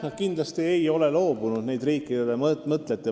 Nad kindlasti ei ole solidaarsusest loobunud.